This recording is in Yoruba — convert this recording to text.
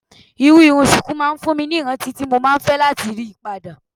Irú irun ṣùkú máa ń fún mi ní ìrántí tí mo máa fẹ́ láti rí padà.